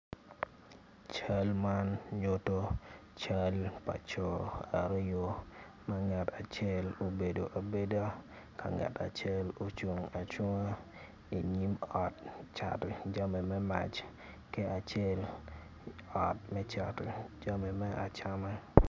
Cal man nyuto cal pa co aryo ngat acel obedo abeda ka ngat acel ocung acunga i yim ot cato jami me mac ki acel ot me cato jami me acama.